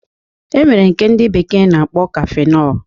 E nwere nke ndị bekee na-akpọ kafinọl